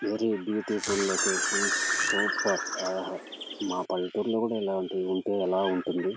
Very beautiful location super యేహె మా పల్లెటూరు లో కూడా ఇలాంటివి ఉంటె ఎలా ఉంటుంది.